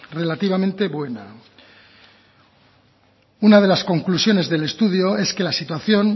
relativamente buena una de las conclusiones del estudio es que la situación